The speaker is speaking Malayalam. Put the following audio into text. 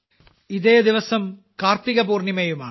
ഇതേ ദിവസം കാർത്തിക പൂർണ്ണിമയുമാണ്